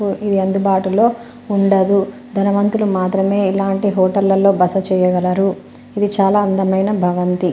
ఇది అందుబాటులో ఉండదు ధనవంతులు మాత్రమే ఇలాంటి హోటల్లో బస చేయగలరు ఇది చాలా అందమైన భావంతి.